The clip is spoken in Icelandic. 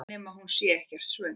Nema hún sé ekkert svöng.